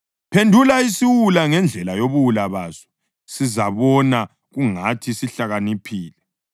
Phendula isiwula ngendlela yobuwula baso, sizabona kungathi sihlakaniphile.